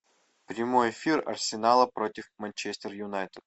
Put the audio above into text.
прямой эфир арсенала против манчестер юнайтед